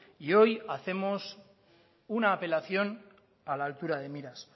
y hoy hacemos una apelación a la altura de miras